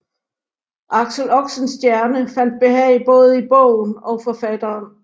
Axel Oxenstierna fandt behag både i bogen og forfatteren